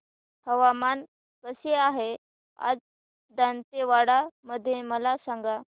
हवामान कसे आहे आज दांतेवाडा मध्ये मला सांगा